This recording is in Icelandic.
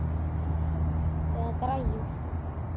Eða græjur.